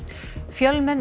fjölmenn